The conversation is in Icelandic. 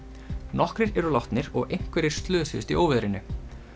nokkrir eru látnir og einhverjir slösuðust í óveðrinu